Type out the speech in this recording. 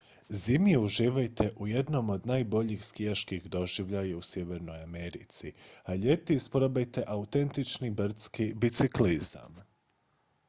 zimi uživajte u jednom od najboljih skijaških doživljaja u sjevernoj americi a ljeti isprobajte autentični brdski biciklizam